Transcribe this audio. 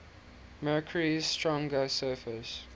mercury's stronger surface